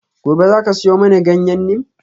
Gobe ​​zaka siyo mani ganyen neem?